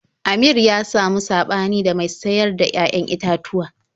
Amir ya samu saɓani da mai sayar da 'ya'yan itatuwa.